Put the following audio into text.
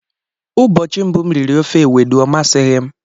Ụbọchị mbụ m riri ofe ewedu, ọ masighi m